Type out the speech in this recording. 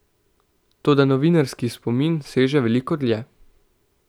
Toda novinarski spomin seže veliko dlje.